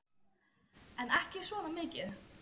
En ekki svona mikið.